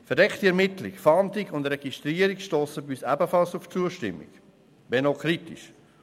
Verdeckte Ermittlung, Fahndung und Registrierung stossen bei uns ebenfalls auf Zustimmung, wenn auch auf kritische.